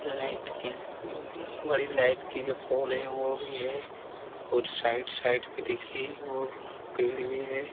Light की बड़ी light की जो पोल है वो भी है और साइड साइड में देखिए वो पेड़ भी है। .